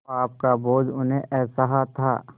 पाप का बोझ उन्हें असह्य था